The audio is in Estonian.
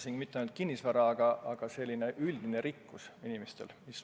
Ma ei mõelnud ainult kinnisvara, vaid sellist üldist rikkust.